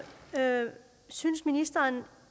synes ministeren